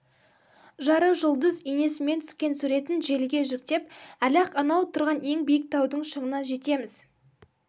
жары жұлдыз енесімен түскен суретін желіге жүктеп әлі-ақ анауууу тұрған ең биік таудың шыңына жетеміз